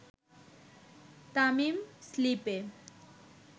তামিম স্লিপে